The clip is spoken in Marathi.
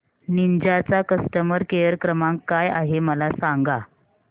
निंजा चा कस्टमर केअर क्रमांक काय आहे मला सांगा